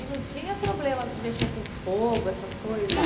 E não tinha problema de mexer com fogo, essas coisas?